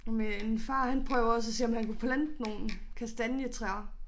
Og min far han prøver også at se om han kan plante nogle kastanjetræer